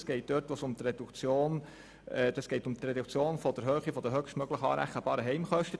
Es geht dort um die Reduktion der Höhe der höchstmöglichen anrechenbaren Heimkosten.